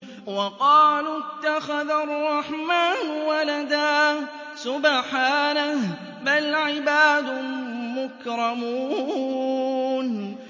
وَقَالُوا اتَّخَذَ الرَّحْمَٰنُ وَلَدًا ۗ سُبْحَانَهُ ۚ بَلْ عِبَادٌ مُّكْرَمُونَ